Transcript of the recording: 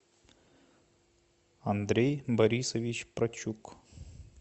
андрей борисович прочук